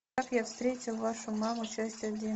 как я встретил вашу маму часть один